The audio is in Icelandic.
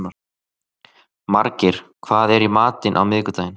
Margeir, hvað er í matinn á miðvikudaginn?